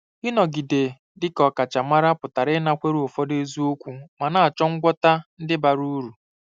Ịnọgide dị ka ọkachamara pụtara ịnakwere ụfọdụ eziokwu ma na-achọ ngwọta ndị bara uru.